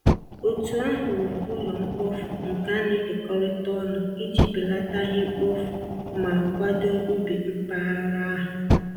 Otu ahụ wuru ụlọ mkpofu nke a na-ekekọrịta ọnụ iji belata ihe mkpofu ma kwado ubi mpaghara ahụ.